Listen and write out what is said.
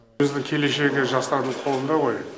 біздің келешегі жастардың қолында ғой